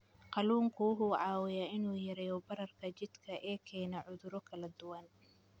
Kalluunku waxa uu caawiyaa in uu yareeyo bararka jidhka ee keena cudurro kala duwan.